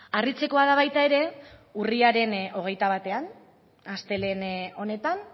harritzekoa da baita ere urriaren hogeita batean astelehen honetan